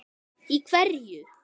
Í hverju?